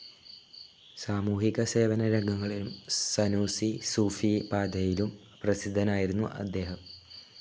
സാമൂഹിക സേവന രംഗങ്ങളിലും, സനൂസി സൂഫി പാതയിലും പ്രസിദ്ധൻ ആയിരുന്നു അദ്ദേഹം.